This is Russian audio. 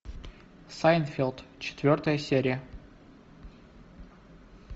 сайнфелд четвертая серия